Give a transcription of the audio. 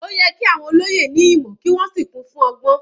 Ó yẹ kí àwọn olóyè ní ìmọ̀ kí wọ́n sì kún fún ọgbọ́n.